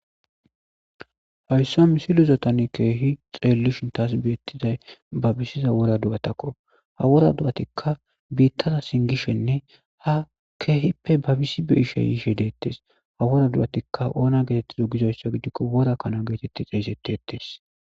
hayssa misiluzatani keehi xeellishin taas beettizay babisiza wora du7atakko ha wora du7atikka biittaza singishenne ha keehippe babisi beyishe yiishe deettes ha wora du7atikka oona geetettizo gizoyssa gidikko wora kana geetetti xeeysetti ettees